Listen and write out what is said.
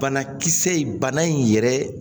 Banakisɛ in bana in yɛrɛ